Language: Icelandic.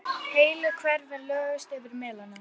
Heilu hverfin lögðust yfir melana.